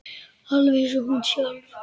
Alveg eins og hún sjálf.